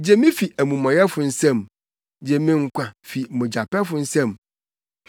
Gye me fi amumɔyɛfo nsam. Gye me nkwa fi mogyapɛfo nsam.